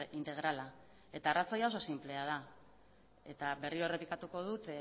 integrala eta arrazoia oso sinplea da eta berriro errepikatuko dut